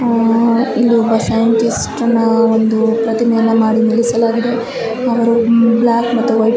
ಆ ಇಲ್ಲೊಬ್ಬ ಸೈಂಟಿಸ್ಟ್ ನಾ ಒಂದು ಪ್ರತಿಮೆ ಎನ್ನ ಮಾಡಿ ನಿಲ್ಲಿಸಲಾಗಿದೆ ಅವರು ಬ್ಲಾಕ್ ಮತ್ತು ವೈಟ್ --